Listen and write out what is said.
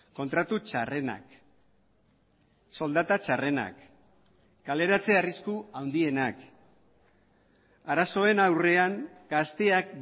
kontratu txarrenak soldata txarrenak kaleratze arrisku handienak arazoen aurrean gazteak